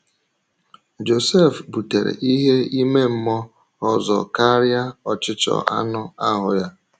Josef butere ihe ime mmụọ ọzọ karịa ọchịchọ anụ ahụ́ ya.